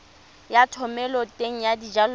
ya thomeloteng ya dijalo le